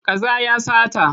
Kaza ya sata.